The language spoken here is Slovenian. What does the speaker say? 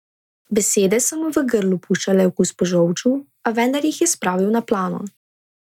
Besede so mu v grlu puščale okus po žolču, a vendar jih je spravil na plano.